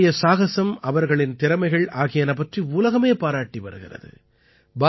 அவர்களுடைய சாகஸம் அவர்களின் திறமைகள் ஆகியன பற்றி உலகமே பாராட்டி வருகிறது